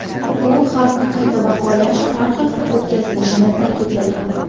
U xavfni qayta baholash har hafta o‘tkazilishini ta’kidlagan.